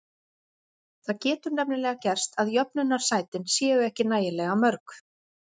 Það getur nefnilega gerst að jöfnunarsætin séu ekki nægilega mörg.